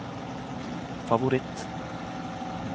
favoritt